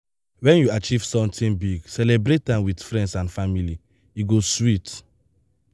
when you achieve something big celebrate am with friends and family e go sweet.